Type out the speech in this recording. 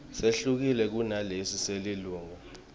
sehlukile kunalesi selilunga